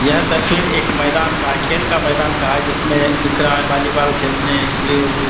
यह तस्वीर एक मैदान का है खेल का मैदान का है जिसमें दिख रहा है बोलीबॉल खेलने के लिए वो सब --